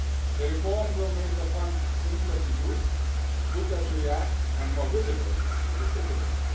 The reform will make the Fund simpler to use, quicker to react and more visible to citizens.